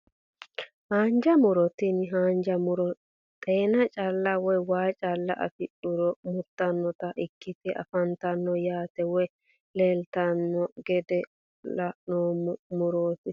Haanja muro tini haanja muro xeena calla woyi waa calla afidhuro murtanota ikitte afantano yaate woyi leeltano gede laaloma murote.